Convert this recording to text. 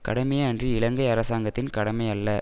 கடமையே அன்றி இலங்கை அரசாங்கத்தின் கடமை அல்ல